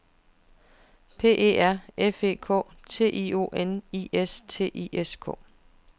P E R F E K T I O N I S T I S K